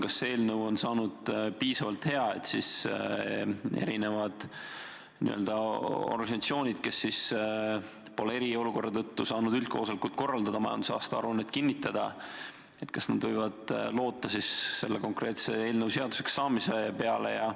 Kas see eelnõu on saanud piisavalt hea, et erinevad n-ö organisatsioonid, kes pole eriolukorra tõttu saanud üldkoosolekut korraldada ja majandusaasta aruannet kinnitada, võivad loota selle eelnõu seaduseks saamise peale?